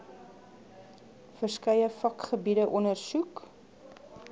verskeie vakgebiede ondersoek